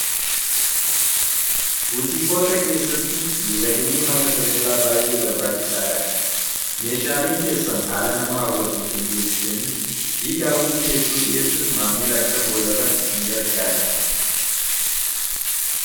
buutiikoota keessatti miidhaginni mana daldalaa baay'ee barbaachisaa dha meeshaaliin keessan haala nama hawwatuu qindeessitanii fi daawitii hedduu dhi'eessun maammil akka goolaban isin gargaare